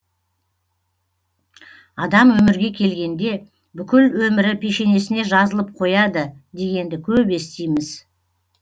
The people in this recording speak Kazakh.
адам өмірге келгенде бүкіл өмірі пешенесіне жазылып қояды дегенді көп естиміз